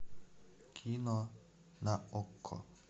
кино на окко